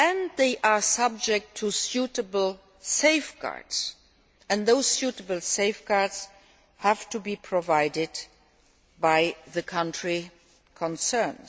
they are subject to suitable safeguards, and those suitable safeguards have to be provided by the country concerned.